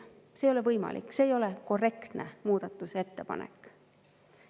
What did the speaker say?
See ei ole võimalik, see ei ole korrektne muudatusettepanek.